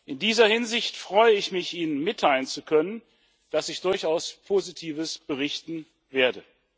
In dieser Hinsicht freue ich mich, Ihnen mitteilen zu können, dass ich durchaus Positives berichten werde.